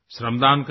श्रमदान करें